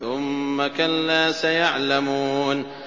ثُمَّ كَلَّا سَيَعْلَمُونَ